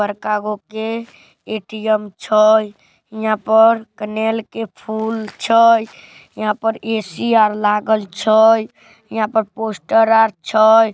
बड़का ए.टी.एम. छे इहाँ पर कनेर के फूल छे इहाँ पर ए.सी. लागल छे इहाँ पर पोस्टर लागल छे।